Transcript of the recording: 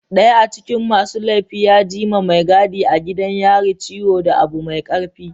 daya acikin masu laifi ya gi ma Mai gadi a gidan yari ciwo da Abu Mai karfi.